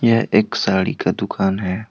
यह एक साड़ी का दुकान है।